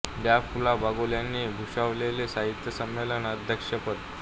डॉ फुला बागूल यांनी भूषवलेले साहित्य संमेलन अध्यक्षपद